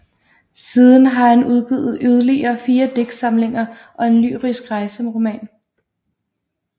Siden har han udgivet yderligere fire digtsamlinger og en lyrisk rejseroman